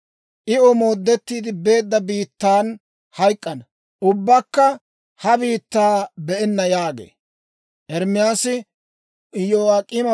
I omoodettiide beedda biittan hayk'k'ana. Ubbakka ha biittaa be'enna» yaagee.